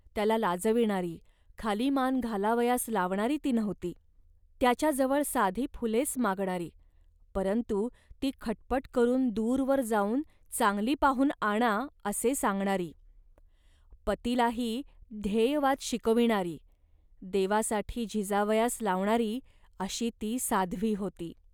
त्याला लाजविणारी, खाली मान घालावयास लावणारी ती नव्हती. त्याच्या जवळ साधी फुलेच मागणारी, परंतु ती खटपट करून दूरवर जाऊन चांगली पाहून आणा, असे सांगणारी, पतीलाही ध्येयवाद शिकविणारी, देवासाठी झिजावयास लावणारी अशी ती साध्वी होती